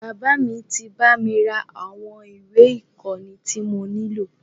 Bàbá mí tí bá mi ra àwọn ìwé ìkóni tí mo nílò.